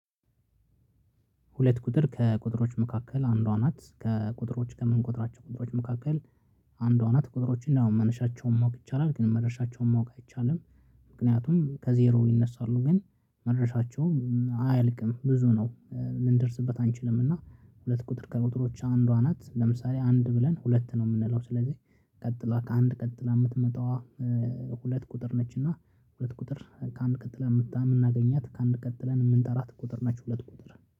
ሁለት ቁጥር ከቁጥሮች መካከል አንዷ ናት። ከቁጥሮች ከምንቆጥራቸው ቁጥሮች መካከል አንዷ ናት። ቁጥሮችን ያው መነሻቸውን ማወቅ ይቻላል። ግን መድረሻቸውን ማወቅ አይቻልም። ምክንያቱም ከዜሮ ይነሳሉ ግን መድረሻቸው አያልቅም ብዙ ነው፤ ልንደርስበት አንችልም። እና ሁለት ቁጥር ከቁጥሮች አንዷ ናት። ለምሳሌ አንድ ብለን ሁለት ነው የምንለው። ስለዚህ ቀጥላ ከአንድ ቀጥላ የምትመጣዋ ሁለት ቁጥር ነች። እና ሁለት ቁጥር ከአንድ ቀጥለን የምናገኛት ከአንድ ቀጥለን የምንጠራት ቁጥር ነች ሁለት ቁጥር።